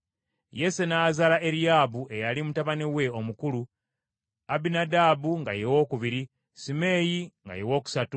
Yese n’azaala Eriyaabu, eyali mutabani we omukulu; Abinadaabu nga ye wookubiri, Simeeyi nga ye wookusatu,